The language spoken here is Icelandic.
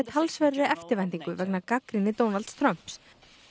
talsverðri eftirvæntingu vegna gagnrýni Donalds Trumps